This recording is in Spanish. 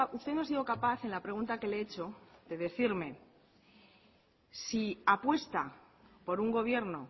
usted no ha sido capaz en la pregunta que le he hecho de decirme si apuesta por un gobierno